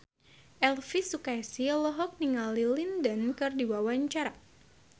Elvi Sukaesih olohok ningali Lin Dan keur diwawancara